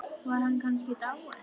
Var hann kannski dáinn?